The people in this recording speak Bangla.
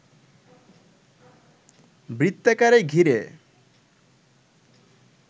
বৃত্তাকারে ঘিরে